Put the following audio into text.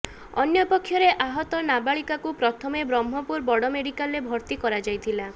ଅନ୍ୟପକ୍ଷରେ ଆହତ ନାବାଳିକାକୁ ପ୍ରଥମେ ବ୍ରହ୍ମପୁର ବଡ଼ ମେଡ଼ିକାଲରେ ଭର୍ତ୍ତି କରାଯାଇଥିଲା